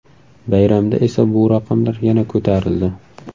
Bayramda esa bu raqamlar yana ko‘tarildi.